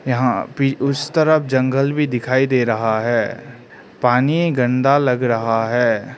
यहां उस तरफ जंगल भी दिखाई दे रहा है पानी गंदा लग रहा है।